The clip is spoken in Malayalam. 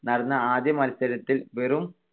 നടന്ന ആദ്യ മത്സരത്തിൽ വെറും